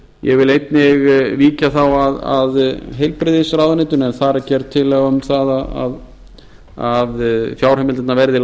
ég vil þá einnig víkja að heilbrigðisráðuneytinu en þar er gerð tillaga um það að fjárheimildirnar verði